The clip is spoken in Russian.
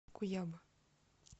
куяба